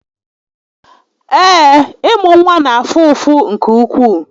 Ee, ị́mụ́ nwa na-afụ ụfụ nke ukwuu